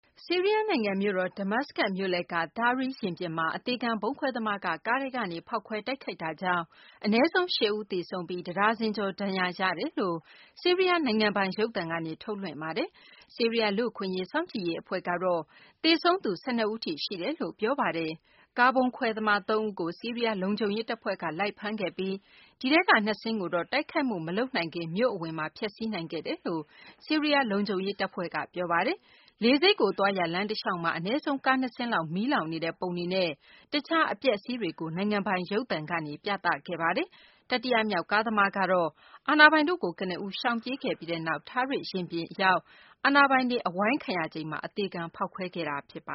ဆီးရီးယား နိုင်ငံ မြို့တော် ဒမတ်စကတ် မြို့လည်က Tahrir ရင်ပြင်မှာ အသေခံ ဗုံးခွဲသမားက ကားထဲကနေ ဖောက်ခွဲတိုက်ခိုက်တာကြောင့် အနည်းဆုံး ၈ ဦး သေဆုံးပြီး တဒါဇင်ကျော် ဒဏ်ရာရတယ်လို့ ဆီးရီးယား နိုင်ငံပိုင် ရုပ်သံကနေ သတင်းထုတ်လွှင့်ပါတယ်။ ဆီးရီးယား လူ့အခွင့်အရေး စောင့်ကြည့်ရေး အဖွဲ့ကတော့ သေဆုံးသူ ၁၂ ဦးထိ ရှိတယ်လို့ ပြောဆိုပါတယ်။ ကားဗုံးခွဲသမား ၃ ဦးကို ဆီးရီးယား လုံခြုံရေး တပ်ဖွဲ့က လိုက်ဖမ်းခဲ့ပြီး ဒီထဲက ၂ စင်းကိုတော့ တိုက်ခိုက်မှု မလုပ်နိုင်ခင် မြို့အဝင်မှာ ဖျက်ဆီးနိုင်ခဲ့တယ်လို့ ဆီးရီးယား လုံခြုံရေး တပ်ဖွဲ့က ပြောပါတယ်။ လေဆိပ်ကို သွားရာ လမ်းတလျှောက်မှာ အနည်းဆုံး ကားနှစ်စင်းလောက် မီးလောင်နေတဲ့ပုံတွေနဲ့ တခြား အပျက်အစီးတွေကို နိုင်ငံပိုင် ရုပ်သံကနေ ပြသခဲ့ပါတယ်။ တတိယမြောက် ကားသမားကတော့ အာဏာပိုင်တို့ကို ကနဦး ရှောင်ပြေးခဲ့ပြီးနောက် Tahrir ရင်ပြင်မှာ အာဏာပိုင်တွေ အဝိုင်းခံရချိန်မှာ အသေခံ ဖောက်ခွဲခဲ့တာ ဖြစ်ပ